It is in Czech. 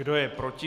Kdo je proti?